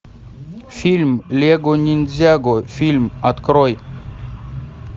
фильм лего ниндзяго фильм открой